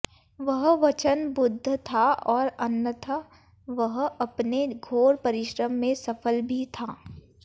वह वछन बुध था और अन्थ वह अप्ने घोर परिश्रम से सफल भि थ